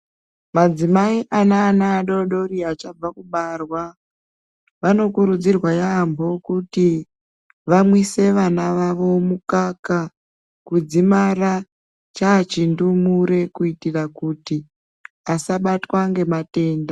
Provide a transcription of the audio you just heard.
Madzimai aneana adodori achabva kubarwa, vanokurudzirwa yaamho kuti vamwise vana vavo mukaka kudzimara chachindumure. Kuti asabatwa ngematenda.